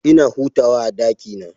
Ina hutawa a ɗakina.